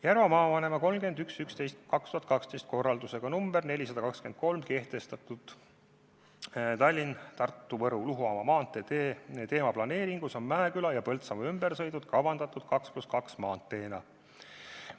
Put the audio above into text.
Järva maavanema 31. novembri 2012 korraldusega number 423 kehtestatud Tallinna–Tartu–Võru–Luhamaa maantee teemaplaneeringus on Mäeküla ja Põltsamaa ümbersõiduteed kavandatud 2 + 2 maanteena.